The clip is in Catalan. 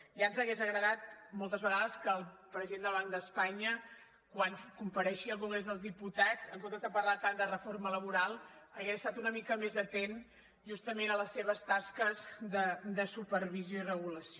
ja ens hauria agradat moltes vegades que el president del banc d’espanya quan compareixia al congrés dels diputats en comptes de parlar tant de reforma laboral hagués estat una mica més atent justament a les seves tasques de supervisió i regulació